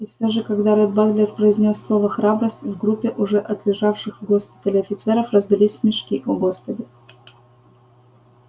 и всё же когда ретт батлер произнёс слово храбрость в группе уже отлежавших в госпитале офицеров раздались смешки о господи